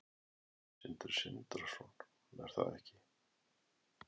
Sindri Sindrason: Er það ekki?